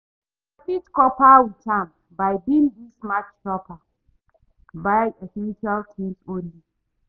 i fit cope with am by being di smart shopper, buy essential things only.